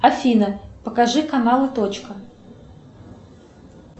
афина покажи каналы точка